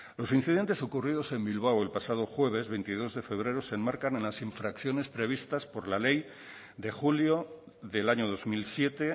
los incidentes ocurridos en bilbao el pasado jueves veintidós de febrero se enmarcan en las infracciones previstas por la ley de julio del año dos mil siete